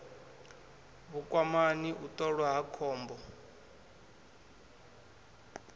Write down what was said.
vhukwamani u ṱolwa ha khombo